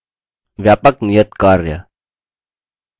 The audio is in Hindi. निम्न link पर उपलब्ध video देखें